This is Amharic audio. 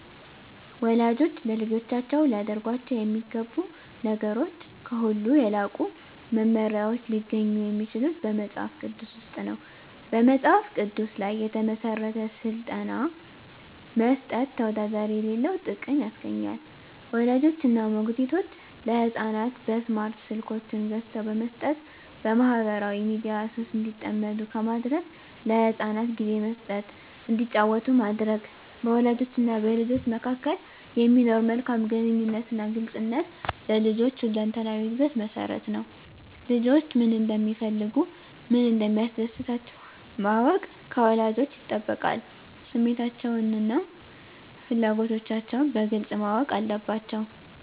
ወላጆች ለልጆቻቸው ሊያደርጓቸው የሚገቡ ነገሮች ከሁሉ የላቁ መመሪያዎች ሊገኙ የሚችሉት በመጽሐፍ ቅዱስ ውስጥ ነው። በመጽሐፍ ቅዱስ ላይ የተመሠረተ ሥልጠና መስጠት ተወዳዳሪ የሌለው ጥቅም ያስገኛል። ወላጆች እና ሞግዚቶች ለሕፃናት በስማርት ስልኮችን ገዝተው በመስጠት በማኅበራዊ ሚዲያ ሱስ እንዲጠመዱ ከማድረግ ለሕፃናት ጊዜ መስጠት እንዲጫወቱ ማድረግ፣ በወላጆችና በልጆች መካከል የሚኖር መልካም ግንኙነትና ግልጽነት ለልጆች ሁለንተናዊ ዕድገት መሠረት ነው። ልጆች ምን እንደሚፈልጉ፣ ምን እንደሚያስደስታቸው ማወቅ ከወላጆች ይጠበቃል። ስሜቶቻቸውንና ፍላጎቶቻቸውን በግልጽ ማወቅ አለባቸዉ።